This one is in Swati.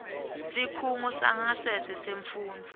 sikhungo sangasese semfundvo